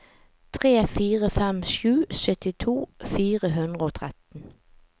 tre fire fem sju syttito fire hundre og tretten